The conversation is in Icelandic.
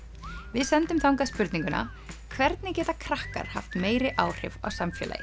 við sendum þangað spurninguna hvernig geta krakkar haft meiri áhrif á samfélagið